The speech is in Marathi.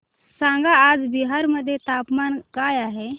सांगा आज बिहार मध्ये तापमान काय आहे